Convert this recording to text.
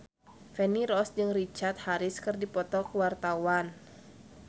Feni Rose jeung Richard Harris keur dipoto ku wartawan